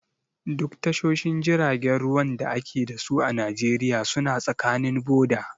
Duk tashoshin jiragen ruwan da a ke dasu a Najeriya suna tsakanin boda.